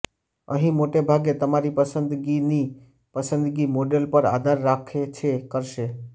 અહીં મોટે ભાગે તમારી પસંદગીની પસંદગી મોડેલ પર આધાર રાખે છે કરશે